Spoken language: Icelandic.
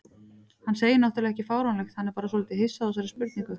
Hann segir náttúrlega ekki fáránlegt, hann er bara svolítið hissa á þessari spurningu.